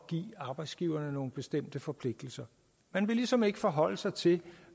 give arbejdsgiverne nogle bestemte forpligtelser man vil ligesom ikke forholde sig til